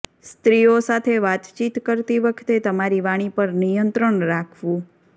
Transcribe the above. સ્ત્રીઓ સાથે વાતચીત કરતી વખતે તમારી વાણી પર નિયંત્રણ રાખવું